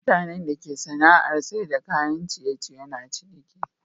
Mutanan da ke sana'ar saida kayan ciye ciye na ciniki